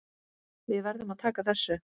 Við verðum að taka þessu.